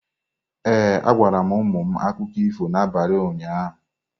Ee, agwara m ụmụ m akụkọ ifo n’abalị ụnyaahụ.